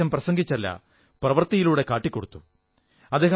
ഈ സന്ദേശം പ്രസംഗിച്ചല്ല പ്രവൃത്തിയിലൂടെ കാട്ടിക്കൊടുത്തു